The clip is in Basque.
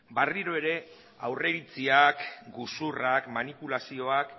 barriro ere aurreiritziak gezurrak manipulazioak